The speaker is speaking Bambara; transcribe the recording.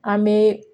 An bɛ